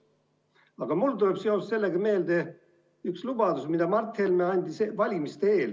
Aga mulle tuleb seoses sellega meelde üks lubadus, mille Mart Helme andis valimiste eel.